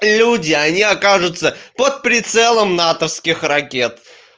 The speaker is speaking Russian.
люди они окажутся под прицелом натовских ракет